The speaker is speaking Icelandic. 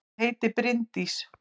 Ég heiti Bryndís!